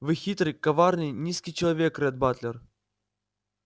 вы хитрый коварный низкий человек ретт батлер